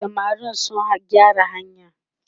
samarin sun gyara hanyar?